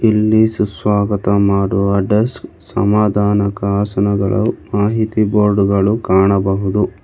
ಇಲ್ಲಿ ಸುಸ್ವಾಗತ ಮಾಡುವ ಡೆಸ್ಕ್ ಸಮಾಧಾನಕ ಆಸನಗಳು ಮಾಹಿತಿ ಬೋರ್ಡ್ ಗಳು ಕಾಣಬಹುದು.